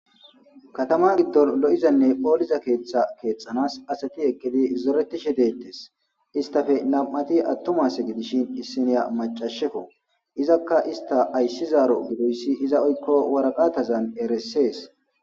Katama giddonni lo'izanne molizza keththa keththanasi asati eqidi zoretishshe detees.isitappe nam''ati atuma asi gidishshin isiniya maacashekko izakka isita ayisizaro gidoyissi waraqatazzanni eretees.